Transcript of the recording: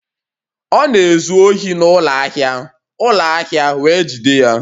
Ọ na-ezu ohi n'ụlọ ahịa ụlọ ahịa wee jide ya